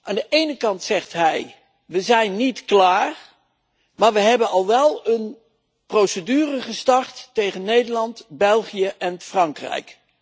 Aan de ene kant zegt hij we zijn niet klaar, maar we hebben al wel een procedure gestart tegen Nederland, België en Frankrijk.